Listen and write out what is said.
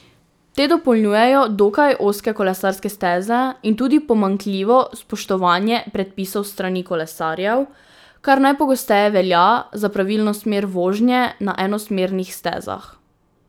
Te dopolnjujejo dokaj ozke kolesarske steze in tudi pomanjkljivo spoštovanje predpisov s strani kolesarjev, kar najpogosteje velja za pravilno smer vožnje na enosmernih stezah.